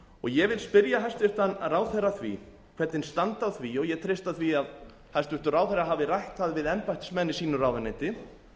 ég vil spyrja hæstvirtan ráðherra að því hvernig standi á því og ég treysti því að hæstvirtur ráðherra hafi rætt það við embættismenn í sínu ráðuneyti